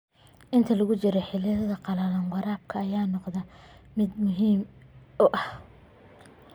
Inta lagu jiro xilliga qallalan, waraabka ayaa noqda mid aad muhiim u ah.